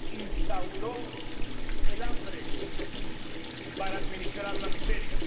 Instauró el hambre para administrar la miseria.